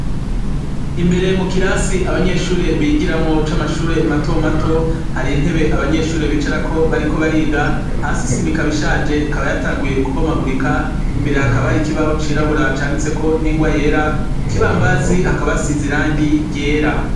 Imbere mu kirasi abanyeshure bigiramwo c'amashure mato mato, har'intebe abanyeshure bicarako bariko bariga. Hasi isima ikaba ishaje, yatanguye kubomagurika. Imbere, hakaba har'ikibaho cirabura canditseko n'ingwa yera. Ku kibambazi hakaba hasize irangi ryera.